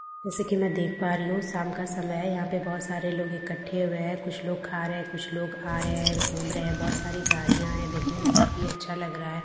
जैसा कि मैं देख पा रही हूं शाम का समय है यहां पे बहुत सारे लोग इकट्ठे हुए हैं कुछ लोग खा रहे हैं कुछ लोग आ रहे हैं घूम रहे हैं बहुत सारी गाड़ियां हैं देखने में काफ़ी अच्छा लग रहा है बहुत --